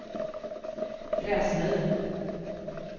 Gräsmyr